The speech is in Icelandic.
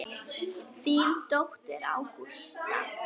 Þín dóttir, Ágústa.